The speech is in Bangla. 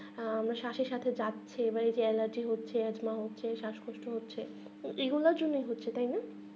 আহ আমাদের শাঁসের সাথে যাচ্ছে নিয়ে যে এলার্জি হচ্ছে আপনার হচ্ছে শাঁস কষ্ট হচ্ছে তো এইগুলা হচ্ছে তাই না